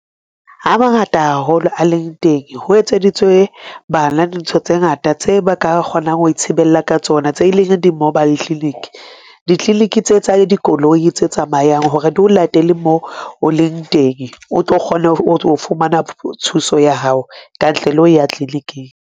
Ha mangata haholo a leng teng ho etseditswe bana dintho tse ngata tse ba ka kgonang ho e thibela ka tsona. Tse leng di-mobile clinic, di-clinic tse tsa dikoloi tse tsamayang hore di o latele le moo o leng teng, o tlo kgona ho fumana thuso ya hao kantle le ho ya clinic-ing.